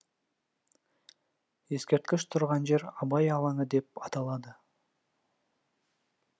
ескерткіш тұрған жер абай алаңы деп аталады